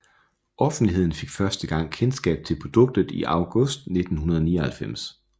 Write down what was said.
Offentligheden fik første gang kendskab til produktet i august 1999